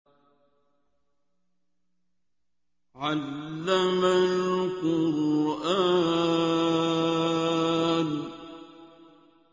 عَلَّمَ الْقُرْآنَ